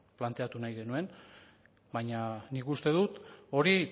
planteatu nahi genuen baina nik uste dut hori